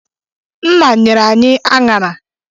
Nna nyere anyị aṅara.